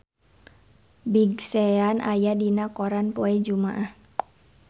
Big Sean aya dina koran poe Jumaah